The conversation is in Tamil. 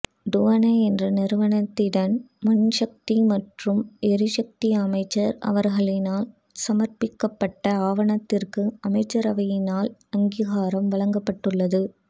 டுவன என்ற நிறுவனத்திடம் மின்சக்தி மற்றும் எரிசக்தி அமைச்சர் அவர்களினால் சமர்ப்பிக்கப்பட்ட ஆவணத்திற்கு அமைச்சரவையினால் அங்கீகாரம் வழங்கப்பட்டுள்ளது